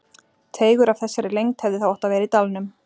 Teigur af þessari lengd hefði þá átt að vera í dalnum.